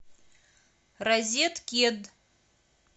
розеткед